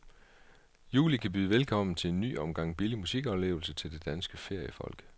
Juli kan byde velkommen til en ny omgang billig musikoplevelse til det danske feriefolk.